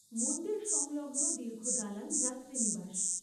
মন্দিরসংলগ্ন দীর্ঘ দালান যাত্রীনিবাস।